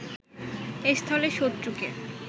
এ স্থলে শত্রুকে